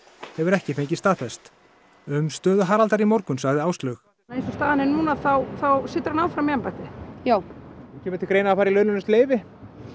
hefur ekki fengist staðfest um stöðu Haraldar í morgun sagði Áslaug eins og staðan er núna þá situr hann áfram í embætti já kemur til greina fari í launalaust leyfi